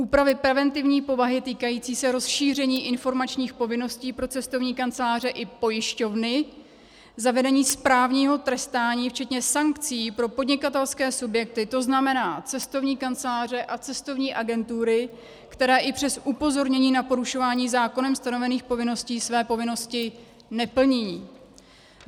úpravy preventivní povahy týkající se rozšíření informačních povinností pro cestovní kanceláře i pojišťovny; zavedení správního trestání včetně sankcí pro podnikatelské subjekty - to znamená cestovní kanceláře a cestovní agentury, které i přes upozornění na porušování zákonem stanovených povinností, své povinnosti neplní;